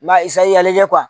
N b'a ɲɛ